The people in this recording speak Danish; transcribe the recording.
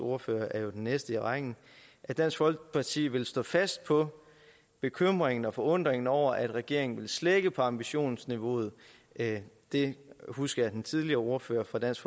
ordfører er jo den næste i rækken at dansk folkeparti vil stå fast på bekymringen og forundringen over at regeringen vil slække på ambitionsniveauet det det husker jeg at den tidligere ordfører for dansk